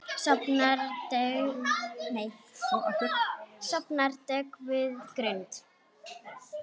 Sofnar döggvuð grund.